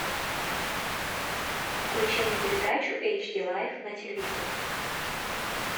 включи мне передачу эйч ди лайф на телевизоре